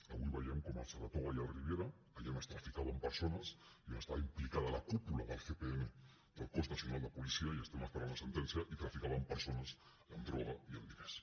avui veiem com al saratoga i al riviera allà on es traficava amb persones i on està implicada la cúpula del cnp del cos nacional de policia i estem esperant la sentència s’hi traficava amb persones i amb droga i amb diners